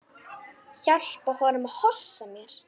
Hjálpa honum að hossa mér.